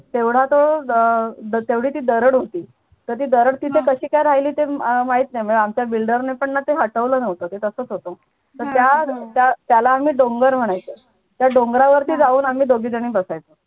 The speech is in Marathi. तेवढा तो अह तेवढी ती दराड होती तर ती दरड तिथे कशी काय राहिली अह ते काय माहित नाही म्हणजे आमच्या builder ने पण ते हटवलं नव्हतं ते तसच होतं तर त्या त्याला आम्ही डोंगर म्हणायचं त्या डोंगरावर ती जाऊन आम्ही दोघी झणी बसायचो.